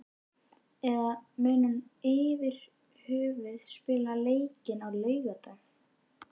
Eða mun hann yfirhöfuð spila leikinn á laugardag?